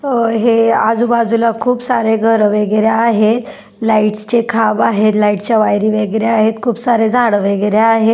अ हे आजू बाजूला खूप सारे घर वगैरे आहेत लाईट्स चे खांब आहे लाईट्स चे वायरी वगैरे आहेत खूप सारे झाड वगैरे आहेत.